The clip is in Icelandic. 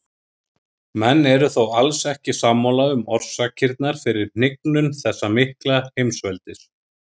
Menn eru þó alls ekki sammála um orsakirnar fyrir hnignun þessa mikla heimsveldis.